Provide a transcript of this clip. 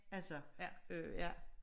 Altså øh ja